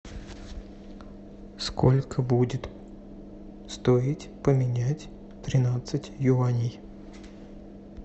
сколько будет стоить поменять тринадцать юаней